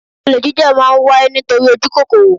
Olè jíjà má ń wáyé nítorí ojukokoro